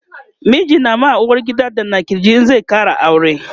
miji na ma uwargida danna kirji in zai Kara aure